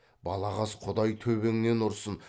балағаз құдай төбеңнен ұрсын